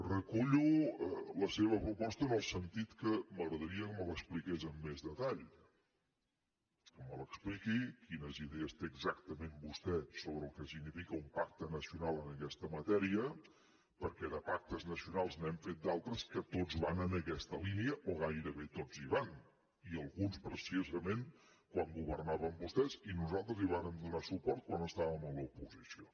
recullo la seva proposta en el sentit que m’agradaria que me l’expliqués amb més detall que m’expliqui quines idees té exactament vostè sobre el que significa un pacte nacional en aquesta matèria perquè de pactes nacionals n’hem fet d’altres que tots van en aquesta línia o gairebé tots hi van i alguns precisament quan governaven vostès i nosaltres hi vàrem donar suport quan estàvem a l’oposició